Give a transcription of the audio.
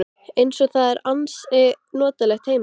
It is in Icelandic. Eins og það er ansi notalegt heima.